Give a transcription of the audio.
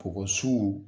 Kɔgɔ suw